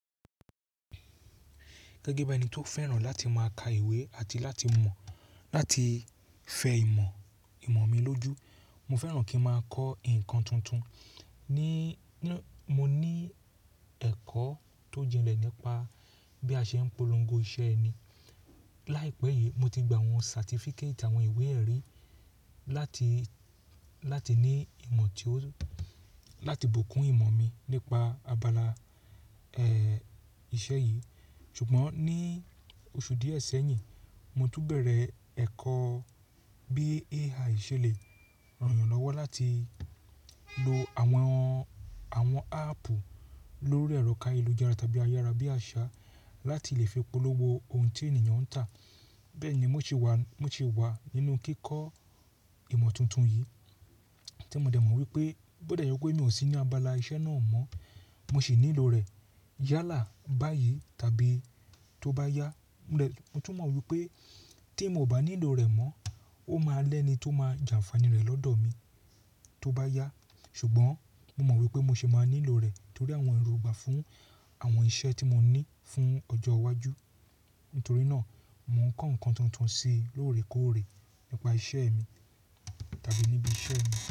Gẹ́gẹ́ bí ẹni tó fẹ́ràn láti máa ka ìwé àti láti mọ̀ láti fẹ ìmọ̀, ìmọ̀ mi lójú. Mo fẹ́ràn kí n máa kọ́ nǹkan tuntun. Ní, mo ní ẹ̀kọ́ tó jinlẹ̀ nípa bí a ṣe ń polongo iṣẹ́ ẹni. Láìpẹ́ yìí mo ti gba àwọn certificate àwọn ìwé ẹ̀rí láti, láti ní ìmọ̀ tí ó, láti bùkún ìmọ̀ mi nípa abala, ẹẹ̀, iṣẹ́ yìí. Ṣùgbọ́n ní oṣù díẹ̀ sẹ́yìn, mo tún bẹ̀rẹ̀ ẹ̀kọ́ bí AI ṣe le ràn'yàn lọ́wọ́ láti lo àwọn, àwọn áàpù lórí ẹrọ káyé lu jára tàbí ayára bí àṣá láti lè fi polówó ohun tí ènìyàn ń tà. Bẹ́ẹ̀ ni mo ṣì wà, mo ṣì wà nínú kíkọ ìmọ̀ tuntun yìí tí mo dẹ̀ mọ̀ wípé bó dẹ̀ jẹ́ pé mi ò sí ní abala iṣẹ́ náà mọ́, mo ṣì nílò rẹ̀ yálà báyìí tàbí tó bá yá. Mo tún mọ wípé tí moò bá nílò rẹ̀ mọ́, ó máa lẹ́ni tó máa jàǹfàní rẹ̀ lọ́dọ̀ mi tó bá yá. Ṣùgbọ́n mo mọ̀ wípé mo ṣì máa nílò rẹ̀ torí àwọn èrògbà fún àwọn iṣẹ́ tí mo ní fún ọjọ́ iwájú. Nítorí náà mò ń kọ́ nǹkan tuntun sí lóòrèkóòrè nípa iṣẹ́ mi tàbí níbi iṣẹ́ mi.